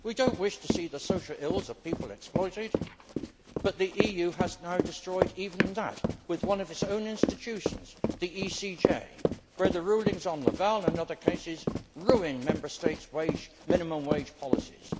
We do not wish to see the social ills of people exploited, but the EU has now destroyed even that with one of its own institutions, the ECJ, where the rulings on Laval and other cases ruined Member States' minimum wage policies.